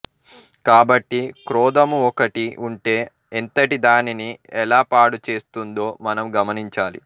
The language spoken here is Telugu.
కాబట్టి క్రోధము ఒక్కటి వుంటే ఎంతటి దానిని ఎలా పాడుచేస్తుందో మనం గమనించాలి